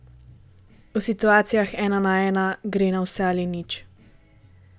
V situacijah ena na ena gre na vse ali nič.